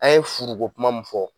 An ye furuko kuma min fɔ